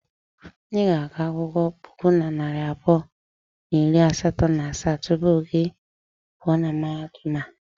I ga-agụ akwụkwọ puku na narị abụọ na iri asatọ na asaa tupu gị a pụọ na mahadum a.